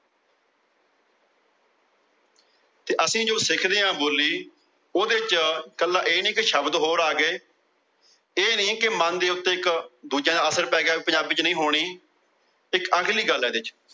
ਅਸੀਂ ਜੋ ਸਿੱਖਦੇ ਆ ਬੋਲੀ ਉਹਦੇ ਚ ਕੱਲਾਂ ਇਹ ਨਹੀਂ ਸ਼ਬਦ ਹੋਰ ਆ ਗਏ। ਇਹ ਨਹੀਂ ਕਿ ਮਨ ਦੇ ਉੱਤੇ ਦੂਜਿਆਂ ਨੂੰ ਅਸਰ ਪੈ ਗਿਆ ਕਿ ਪੰਜਾਬੀ ਚ ਨਹੀਂ। ਹੋਣੀ ਇੱਕ ਅਗਲੀ ਗੱਲ ਏ ਇਹਦੇ ਚ